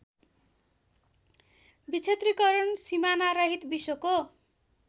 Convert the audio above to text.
विक्षेत्रीकरण सिमानारहित विश्वको